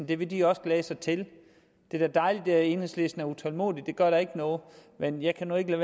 det vil de også glæde sig til det er da dejligt at enhedslisten er utålmodig det gør da ikke noget men jeg kan nu ikke